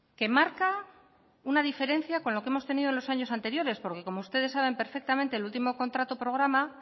que marca una diferencia con lo que hemos tenido en los años anteriores porque como ustedes saben perfectamente el último contrato programa